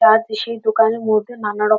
তার পিসির দোকানে মূর্তি নানান রকম।